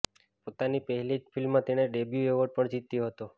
પોતાની પહેલી જ ફિલ્મમાં તેણે ડેબ્યુ એવોર્ડ પણ જીત્યો હતો